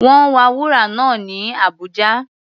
Wọ́n wa wúrà náà ní Abuja.